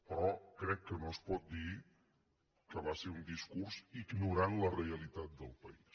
però crec que no es pot dir que va ser un discurs ignorant la realitat del país